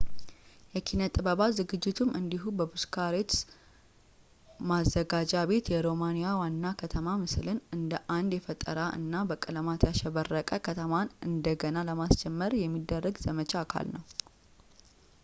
የኪነ-ጥበባት ዝግጅቱም እንዲሁ በቡካሬስት ማዘጋጃ ቤት የሮማኒያ ዋና ከተማ ምስልን እንደ አንድ የፈጠራ እና በቀለማት ያሸበረቀ ከተማን እንደገና ለማስጀመር የሚደረግ ዘመቻ አካል ነው